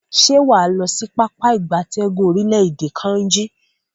Se waa lo si Pápá ìgbatẹ́gùn orile-ede Kainji?